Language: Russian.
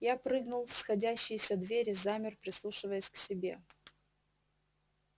я прыгнул в сходящиеся двери замер прислушиваясь к себе